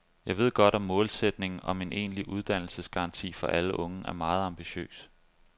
Jeg ved godt, at målsætningen om en egentlig uddannelsesgaranti for alle unge er meget ambitiøs.